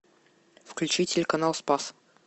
включи телеканал спас